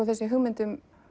þessi hugmynd